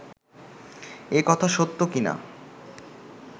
এ কথা সত্য কি না